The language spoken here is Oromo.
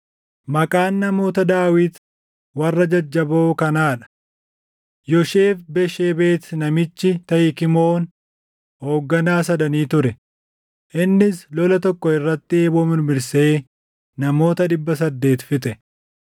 Maqaan namoota Daawit warra jajjaboo kanaa dha: Yosheeb-Bashebet namichi Tahikmooni hoogganaa sadanii ture; innis lola tokko irratti eeboo mirmirsee namoota dhibba saddeet fixe.